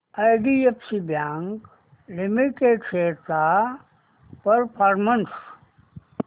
IDFC bank limited shares चा performance